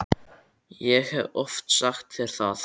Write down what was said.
Ég hef oft sagt þér það.